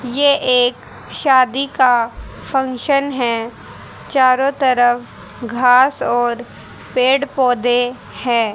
ये एक शादी का फंक्शन है चारों तरफ घास और पेड़ पौधे है।